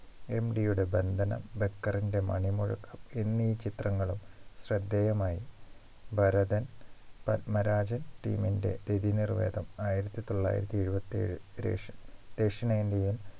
MT യുടെ ബന്ധനം ബക്കറിന്റെ മണിമുഴക്കം എന്നീ ചിത്രങ്ങളും ശ്രദ്ധേയമായി ഭരതൻ പത്മരാജൻ team ൻ്റെ രതിനിർവേദം ആയിരത്തി തൊള്ളായിരത്തി എഴുപത്തി ഏഴ് രേഷ് ദക്ഷിണേന്ത്യയിൽ